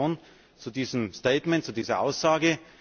Gratulation zu diesem Statement, zu dieser Aussage.